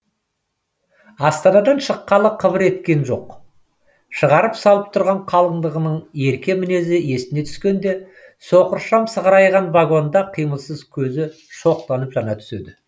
астанадан шыққалы қыбыр еткен жоқ шығарып салып тұрған қалыңдығының ерке мінезі есіне түскенде соқыр шам сығырайған вагонда қимылсыз көзі шоқтанып жана түседі